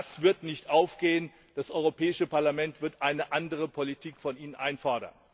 Das wird nicht aufgehen. Das Europäische Parlament wird eine andere Politik von Ihnen einfordern.